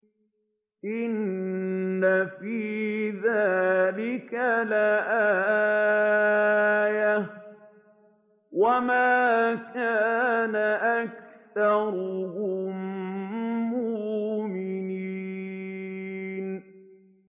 إِنَّ فِي ذَٰلِكَ لَآيَةً ۖ وَمَا كَانَ أَكْثَرُهُم مُّؤْمِنِينَ